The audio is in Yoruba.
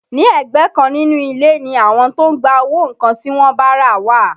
Ní ẹ̀gbẹ́ kan nínú ilé ni àwọn tó ń gba owó nǹkan tí wọ́n bá rà wà